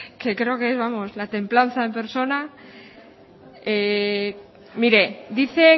que creo que es templanza en persona mire dice